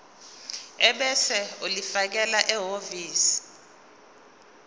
ebese ulifakela ehhovisi